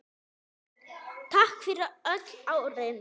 Takk fyrir öll árin.